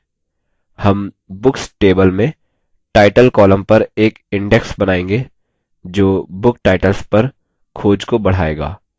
हम books table में title column पर एक index बनाएँगे जो book titles पर खोज को बढ़ाएगा